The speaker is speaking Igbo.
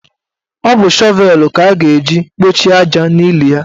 Ọ bụ shọvelu ka a ga-eji kpọchie aja n'ili ya.